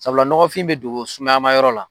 Sabula nɔgɔfin bɛ don sumaya ma yɔrɔ la.